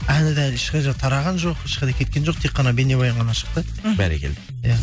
әні да әлі ешқайда тараған жоқ ешқайда кеткен жоқ тек қана бейнебаян ғана шықты мхм бәрекелді иә